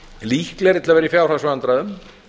líklegri til að vera í fjárhagsvandræðum